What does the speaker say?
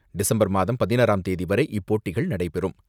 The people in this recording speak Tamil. டிசம்பர் மாதம் பதினாறாம் தேதிவரை இப்போட்டிகள் நடைபெறும்.